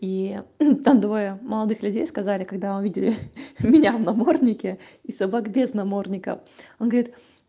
и там двое молодых людей сказали когда увидели меня в наморднике и собак без намордника он говорит